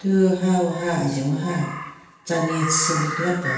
Thu hawaha ajen waha chanye tsü lekhila pen.